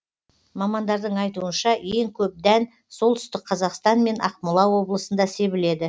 мамандардың айтуынша ең көп дән солтүстік қазақстан мен ақмола облысында себіледі